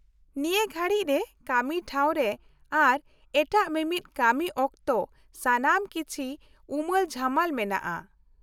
-ᱱᱤᱭᱟᱹ ᱜᱷᱟᱲᱤᱡ ᱨᱮ ᱠᱟᱹᱢᱤ ᱴᱷᱟᱶ ᱨᱮ ᱟᱨ ᱮᱴᱟᱜ ᱢᱤᱢᱤᱫ ᱠᱟᱹᱢᱤ ᱚᱠᱛᱚ ᱥᱟᱱᱟᱢ ᱠᱤᱪᱷᱤ ᱩᱢᱟᱹᱞ ᱡᱷᱩᱢᱟᱹᱞ ᱢᱮᱱᱟᱜᱼᱟ ᱾